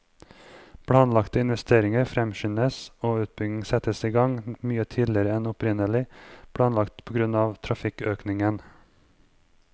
Planlagte investeringer fremskyndes og utbygging settes i gang mye tidligere enn opprinnelig planlagt på grunn av trafikkøkningen.